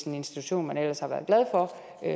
institution man ellers har været glad for